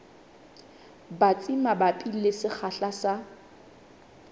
batsi mabapi le sekgahla sa